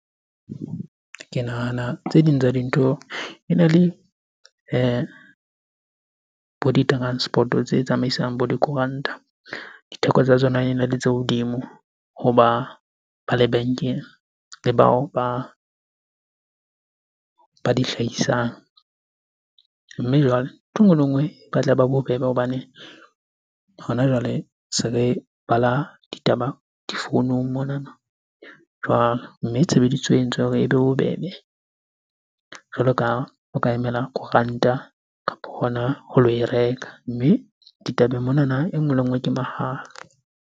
Ke nahana tse ding tsa dintho ena le bo di-transport-o tse tsamaisang bo dikoranta. Ditheko tsa tsona ene le tse hodimo ho ba lebenke le bao ba di hlahisang. Mme jwale, ntho e nngwe le nngwe e batla e ba bobebe hobane hona jwale se re bala ditaba difounung monana jwalo. Mme tshebediso e entse hore ebe bobebe jwalo ka ho ka emela koranta kapo hona ho lo e reka. Mme ditabeng monana e nngwe le e nngwe ke mahala.